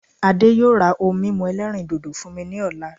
Adé yóò ra ohun mímu ẹlẹ́rìndòdò fún mi ní ọ̀la